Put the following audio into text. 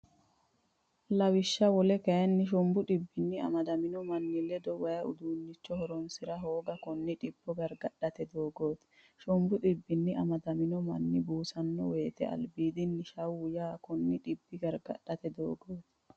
Lawishsha wole kayinni Shombu dhibbinni amadamino manni ledo way udiinnicho horonsi’ra hooga konne dhibba gargadhate doogooti Shombu dhibbinni amadamino manni buusanno woyte albiidinni shawwu yaa konne dhibba gargadhate doogooti.